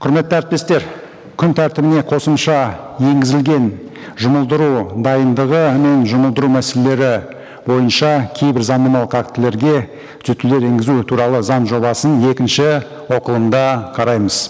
құрметті әріптестер күн тәртібіне қосымша енгізілген жұмылдыру дайындығы мен жұмылдыру мәселелері бойынша кейбір заңнамалық актілерге түзетулер енгізу туралы заң жобасын екінші оқылымда қараймыз